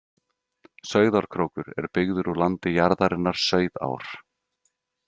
Sauðárkrókur er byggður úr landi jarðarinnar Sauðár.